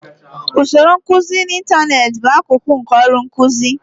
Usoro nkuzi n'ịntanetị bụ akụkụ nke ọrụ nkuzi.